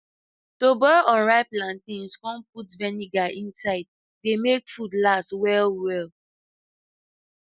to boil unripe plantains come put vinegar inside dey make food last well well